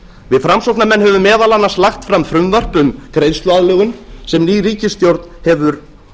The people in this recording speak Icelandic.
við framsóknarmenn höfum meðal annars lagt fram frumvörp um greiðsluaðlögun sem ný ríkisstjórn hefur